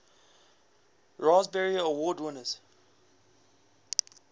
raspberry award winners